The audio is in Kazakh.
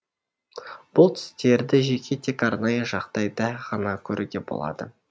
бұл түстерді жеке тек арнайы жағдайда ғана көруге болады